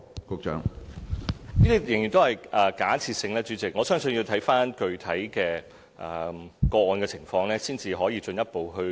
主席，這些情況仍然是假設性，我相信要視乎具體的個案，才可以進一步評論。